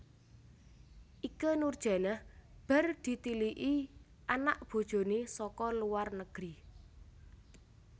Ikke Nurjanah bar ditiliki anak bojone saka luar negeri